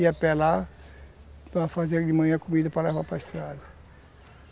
Ia pelar para fazer de manhã comida para levar para estrada.